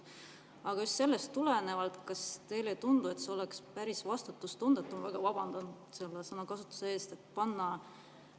Aga just sellest tulenevalt, kas teile ei tundu, et oleks päris vastutustundetu – ma väga vabandan selle sõnakasutuse pärast!